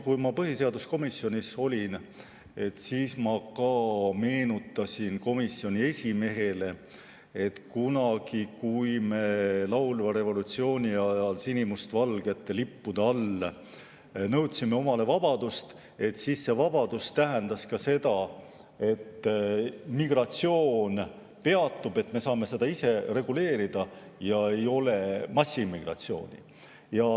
Kui ma põhiseaduskomisjonis olin, siis ma ka meenutasin komisjoni esimehele, et kunagi, kui me laulva revolutsiooni ajal sinimustvalgete lippude all nõudsime omale vabadust, siis vabadus tähendas ka seda, et migratsioon peatub, et me saame seda ise reguleerida ja ei ole massiimmigratsiooni.